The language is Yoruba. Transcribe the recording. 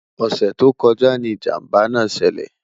ọsẹ tó kojá ní ìjàmbá nà ṣẹlẹ